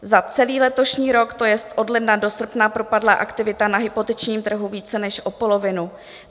Za celý letošní rok, to jest od ledna do srpna, propadla aktivita na hypotečním trhu více než o polovinu.